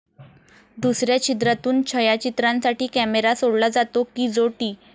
दुसऱ्या छिद्रातून छयाचित्रांसाठी कॅमेरा सोडला जातो कि जो टी.